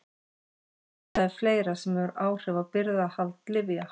En það er fleira sem hefur áhrif á birgðahald lyfja.